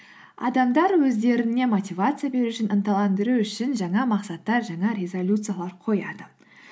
адамдар өздеріне мотивация беру үшін ынталандыру үшін жаңа мақсаттар жаңа резолюциялар қояды